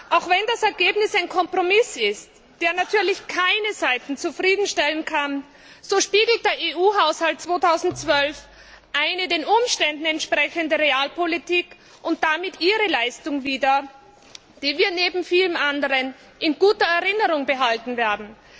Auch wenn das Ergebnis ein Kompromiss ist, der natürlich keine Seite zufriedenstellen kann, spiegelt der EU Haushalt 2012 eine den Umständen entsprechende Realpolitik und damit Ihre Leistung wider, die wir neben vielem anderen in guter Erinnerung behalten werden.